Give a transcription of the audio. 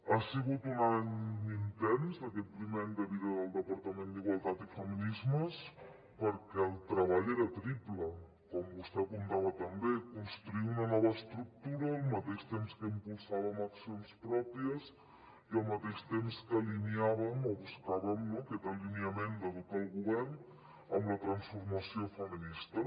ha sigut un any intens aquest primer any de vida del departament d’igualtat i feminismes perquè el treball era triple com vostè apuntava també construir una nova estructura al mateix temps que impulsàvem accions pròpies i al mateix temps que alineàvem o buscàvem aquest alineament de tot el govern amb la transformació feminista